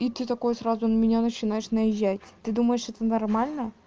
и ты такой сразу на меня начинаешь наезжать ты думаешь это нормально